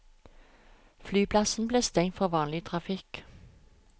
Flyplassen ble stengt for vanlig trafikk.